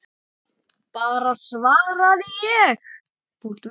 Bara svaraði ég.